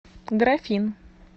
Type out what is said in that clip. графин